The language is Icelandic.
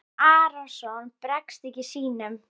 Jón Arason bregst ekki sínum.